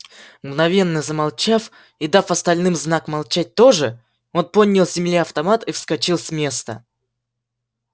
мгновенно замолчав и дав остальным знак молчать тоже он поднял с земли автомат и вскочил с места